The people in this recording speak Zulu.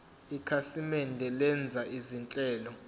ikhasimende lenza izinhlelo